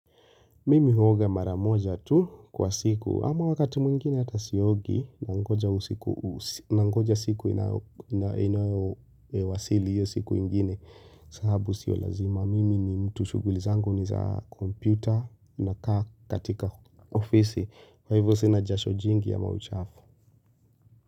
Mimi huoga maramoja tu kwa siku, ama wakati mwingine hata siogi, nangoja siku inayowasili hiyo siku ingine, sababu sio lazima. Mimi ni mtu shughuli zangu ni za kompyuta nakaa katika ofisi. Kwa hivyo sina jasho jingi ama uchafu.